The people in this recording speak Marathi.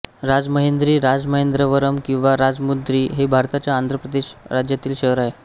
राजमहेंद्री राजमहेंद्रवरम किंवा राजमुंद्री हे भारताच्या आंध्र प्रदेश राज्यातील शहर आहे